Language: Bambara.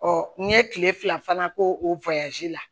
n ye kile fila fana k'o o la